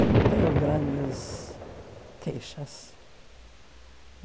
Eu não tenho grandes queixas.